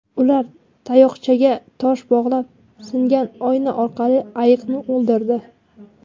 Ular tayoqchaga tosh bog‘lab, singan oyna orqali ayiqni o‘ldirdi.